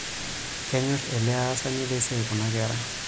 Kenyorr ele aasani lesiai kuna kera.